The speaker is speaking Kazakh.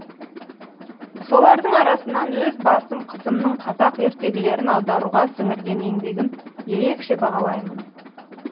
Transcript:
солардың арасынан өз басым қызымның қазақ ертегілерін аударуға сіңірген еңбегін ерекше бағалаймын